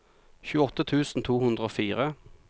tjueåtte tusen to hundre og fire